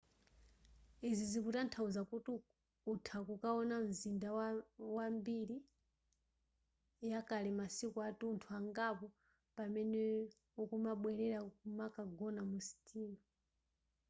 izi zikutanthauza kuti utha kukaona mzinda wa mbiri yakale masiku atunthu angapo pamene ukumabwelera nkumagona mu sitima